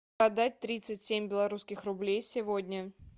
продать тридцать семь белорусских рублей сегодня